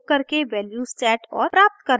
निम्न link पर उपलब्ध video देखें